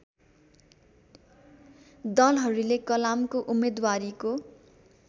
दलहरूले कलामको उम्मेद्वारीको